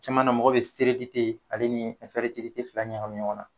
Caman na mɔgɔ be ale nii fila ɲagamin ɲɔgɔn na.